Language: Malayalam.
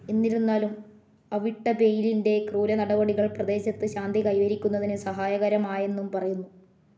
എന്നിരുന്നാലും അവിട്ടബെയിലിൻ്റെ ക്രൂരനടപടികൾ പ്രദേശത്ത് ശാന്തി കൈവരിക്കുന്നതിന് സഹായകരമായെന്നും പറയുന്നു.